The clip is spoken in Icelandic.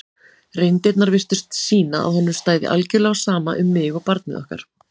reyndirnar virtust sýna að honum stæði algjörlega á sama um mig og barnið okkar.